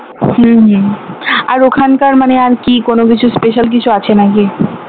হম আর ওখানকার মানে কি কোনো কিছু special কিছু আছে নাকি?